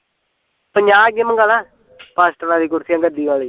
ਪੰਜਾਹ ਕੁ ਮਗਾਂਦਾ ਫਾਸਟਰ ਆਲੀਆਂ ਕੁਰਸੀਆ ਗੱਦੀ ਆਲੀਆਂ